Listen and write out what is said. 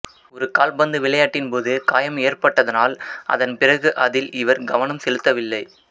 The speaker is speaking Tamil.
ஒரு கால்பந்து விளையாட்டின் போது காயம் ஏற்பட்டதனால் அதன் பிறகு அதில் இவர் கவனம் செலுத்தவில்லை